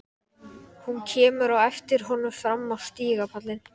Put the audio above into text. Hún kemur á eftir honum fram á stigapallinn.